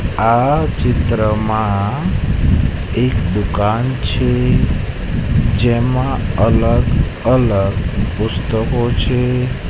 આ ચીત્રમાં એક દુકાન છે જેમાં અલગ અલગ પુસ્તકો છે.